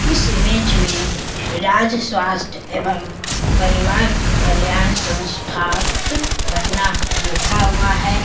इस इमेज में राज्‍य स्‍वास्‍थ्‍य एवं परिवार कल्याण संस्थान पटना लिखा हुआ है।